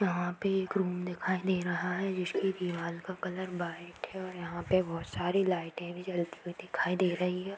यहाँ पे एक रूम दिखाई दे रहा है जिसकी दिवाल का कलर वाइट है और यहाँ पे बहुत सारी लाइटे भी जलती हुई दिखाई दे रही है।